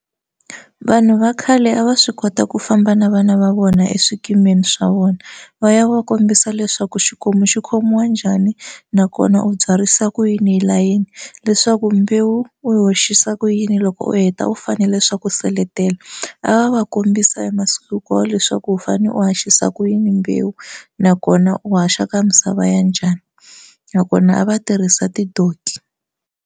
Vanhu va khale a va swi kota ku famba na vana va vona eswikimini swa vona va ya va kombisa leswaku xikomu xi khomiwa njhani nakona u byarisa kuyini hi layeni leswaku mbewu u yi hoxisa kuyini loko u heta u fanele swa ku u seletela a va va kombisa hi masiku hinkwawo leswaku u fane u haxisa kuyini mbewu nakona u haxa ka misava ya njhani nakona a va tirhisa ti-donkey.